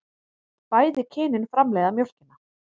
Bæði kynin framleiða mjólkina.